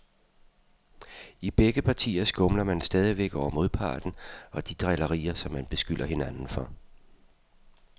I begge partier skumler man stadigvæk over modparten og de drillerier, som man beskylder hinanden for.